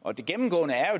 og det gennemgående